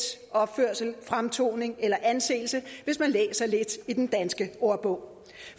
opførsel fremtoning eller anseelse hvis man læser lidt i den danske ordbog